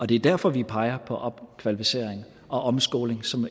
det er derfor vi peger på opkvalificering og omskoling som